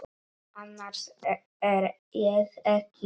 Annars er ég ekki viss.